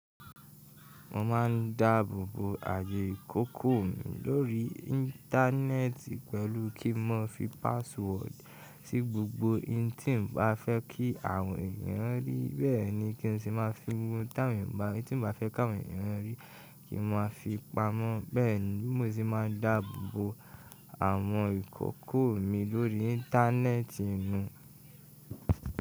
Mo ma ń dáàbòbò ààyè ìkòkò mi lórí internet pẹ̀lú kí nmo má fi password sí gbogbo ìhin tí nbá fẹ́ kí àwọn èèyàn rí, bẹ́ẹ̀ ni kí n si máa fi ohun táwọn èèyàn bá òun tí mo bá fẹ́ kàwé rí kí n má fi pa mọ́, bẹ́ẹ̀ ni mo sí máa ń dáàbòbò àwọn ìkòkò mi lórí internet nu.